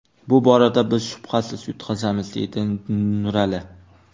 Bu borada biz shubhasiz yutqazamiz, deydi Nurali.